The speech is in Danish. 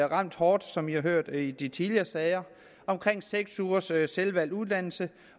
ramt hårdt som vi har hørt i de tidligere sager omkring seks ugers selvvalgt uddannelse